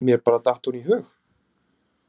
Mér bara datt hún í hug.